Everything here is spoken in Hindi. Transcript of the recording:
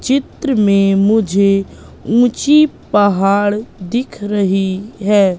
चित्र में मुझे ऊंची पहाड़ दिख रही है।